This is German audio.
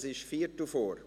Es ist Viertelvor.